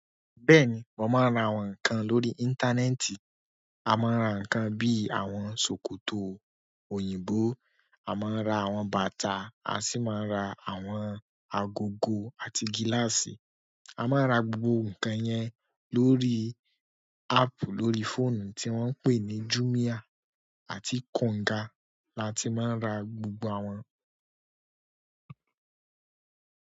Bẹ́ẹ̀ni, mo máa ń ra àwọn nǹkan lórí íńtánẹ́ẹ̀tì. A máa ń ra nǹkan bí i àwọn ṣòkòtò òyìnbó, a máa ń ra àwọn bàtà, a sì máa ń ra àwọn agogo àti gíláàsì. A máa ń ra gbogbo nǹkan yẹn lórí áàpù lórí fóònù tí wọ́n ń pè ní Jumia àti Konga la ti máa ń ra gbogbo àwọn.